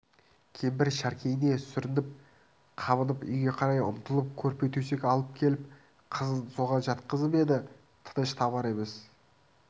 кемпір шәркейіне сүрініп-қабынып үйге қарай ұмтылып көрпе-төсек алып келіп қызын соған жатқызып еді тыныш табар емес